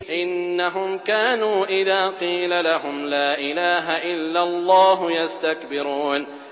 إِنَّهُمْ كَانُوا إِذَا قِيلَ لَهُمْ لَا إِلَٰهَ إِلَّا اللَّهُ يَسْتَكْبِرُونَ